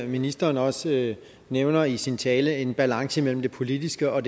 ministeren også nævner i sin tale en balance mellem det politiske og